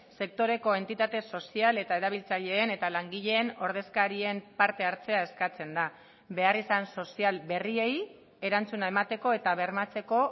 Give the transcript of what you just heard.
sektoreko entitate sozial eta erabiltzaileen eta langileen ordezkarien parte hartzea eskatzen da beharrizan sozial berriei erantzuna emateko eta bermatzeko